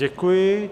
Děkuju.